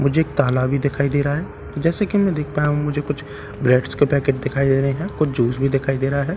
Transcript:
मुझे एक ताला भी दिखाई दे रहा है जैसा की मैं देख पाया हूं मुझे कुछ ब्रेडस के पैकेट दिखाई दे रहे हैं कुछ जूस भी दिखाई दे रहा है।